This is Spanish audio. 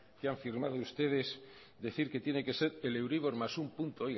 que han firmado ustedes decir que tiene que ser el euribor más un punto